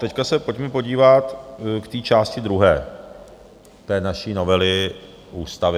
Teď se pojďme podívat k té části druhé té naší novely ústavy.